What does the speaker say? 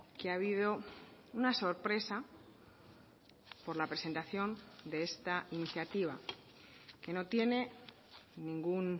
que ha habido una sorpresa por la presentación de esta iniciativa que no tiene ningún